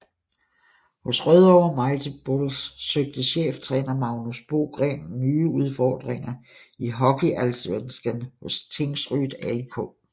Hos Rødovre Mighty Bulls søgte cheftræner Magnus Bogren nye udfordringer i HockeyAllsvenskan hos Tingsryd AIK